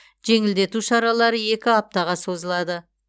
жеңілдету шаралары екі аптаға созылады